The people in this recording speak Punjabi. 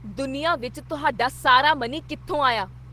ਦੁਨੀਆ ਵਿੱਚ ਤੁਹਾਡਾ ਸਾਰਾ ਮਨੀ ਕਿੱਥੋਂ ਆਇਆ?